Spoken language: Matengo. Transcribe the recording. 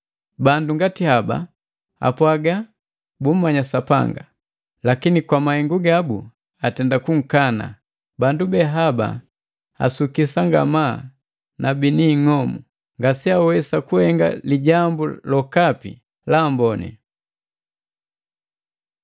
Bandu ngati haba apwaga bummanya Sapanga, lakini kwa mahengu gabu atenda kunkana. Bandu behaba asukisa ngamaa na bini ing'omu, ngase awesa kuhenga lijambu lokapi la amboni.